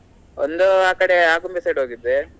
ಒಂದು ಆ ಕಡೆ Agumbe side ಹೋಗಿದ್ದೆ.